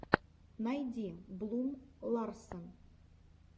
найди блум ларсен